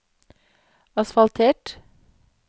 asfaltert